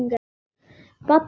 Baddi líka.